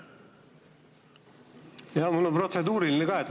Jah, mul on protseduuriline küsimus ka.